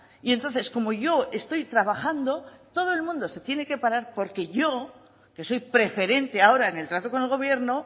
y entonces como yo estoy trabajando todo el mundo se tiene que parar porque yo que soy preferente ahora en el trato con el gobierno